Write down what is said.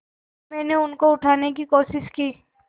मैंने उनको उठाने की कोशिश की